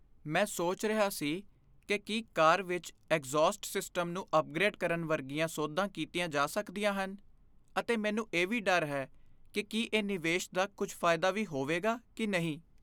ਮੈਂ ਸੋਚ ਰਿਹਾ ਸੀ ਕਿ ਕੀ ਕਾਰ ਵਿੱਚ ਐਗਜ਼ੌਸਟ ਸਿਸਟਮ ਨੂੰ ਅਪਗ੍ਰੇਡ ਕਰਨ ਵਰਗੀਆਂ ਸੋਧਾਂ ਕੀਤੀਆਂ ਜਾ ਸਕਦੀਆਂ ਹਨ ਅਤੇ ਮੈਨੂੰ ਇਹ ਵੀ ਡਰ ਹੈ ਕਿ ਕੀ ਇਹ ਨਿਵੇਸ਼ ਦਾ ਕੁਝ ਫਾਇਦਾ ਵੀ ਹੋਵੇਗਾ ਕਿ ਨਹੀਂ।